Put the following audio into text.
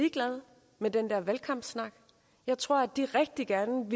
ligeglade med den der valgkampssnak jeg tror at de rigtig gerne